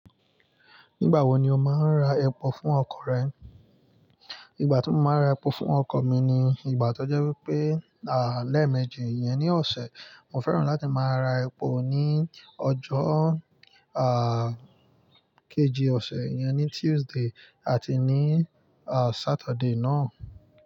Nígbà wo ni o máa ń ra epo fún ọkọ̀ rẹ? Ìgbà tí mo máa n ra epo fún ọkọ̀ mi ni ìgbà tó jẹ́ wípé, lẹ́eméjì iyẹn ní ọ̀sẹ̀. Mo fẹ́ràn láti máa ra epo ní ọjọ́ kejì ọ̀sẹ̀ yẹn, ní Tuesday àti ní Saturday náà.